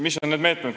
Mis on need meetmed?